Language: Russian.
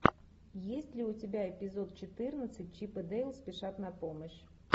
есть ли у тебя эпизод четырнадцать чип и дейл спешат на помощь